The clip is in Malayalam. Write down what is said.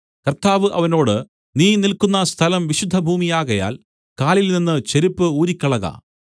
കർത്താവ് അവനോട് നീ നിൽക്കുന്ന സ്ഥലം വിശുദ്ധഭൂമിയാകയാൽ കാലിൽനിന്ന് ചെരിപ്പു ഊരിക്കളക